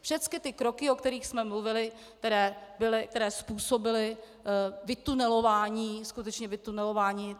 Všechny ty kroky, o kterých jsme mluvili, které způsobily vytunelování, skutečně vytunelování,